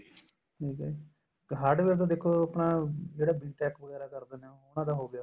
ਠੀਕ ਏ ਜੀ hardware ਤਾਂ ਦੇਖੋ ਆਪਣਾ ਜਿਹੜਾ BTECH ਵਗੈਰਾ ਹੋ ਗਏ ਨੇ ਉਹਨਾ ਦਾ ਹੋ ਗਿਆ